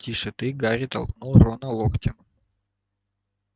тише ты гарри толкнул рона локтем